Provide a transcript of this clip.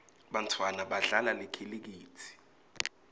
bantfwana badlala likhilikithi